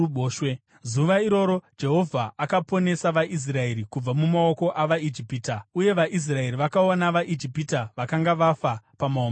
Zuva iroro Jehovha akaponesa vaIsraeri kubva mumaoko avaIjipita, uye vaIsraeri vakaona vaIjipita vakanga vafa pamahombekombe.